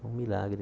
Um milagre.